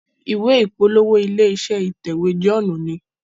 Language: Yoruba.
ìwé ìpolówó ilé-iṣẹ́ ìtẹ̀wé John ní.